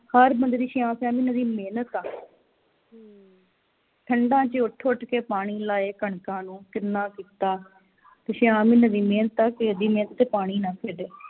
ਹਰ ਬੰਦੇ ਦੀ ਛੇਆਂ ਛੇਆਂ ਮਹੀਨਿਆਂ ਦੀ ਮਿਹਨਤ ਆ ਠੰਡਾ ਵਿਚ ਉਠ ਉਠ ਕੇ ਪਾਣੀ ਲਾਏ ਕਣਕਾਂ ਨੂੰ ਕਿੰਨਾਂ ਕੀਤਾ ਤੇ ਛੇਆਂ ਮਹੀਨਿਆਂ ਦੀ ਮਿਹਨਤ ਕਿਹੇ ਦੀ ਮਿਹਨਤ ਤੇ ਪਾਣੀ ਨਾ ਫਿਰੇ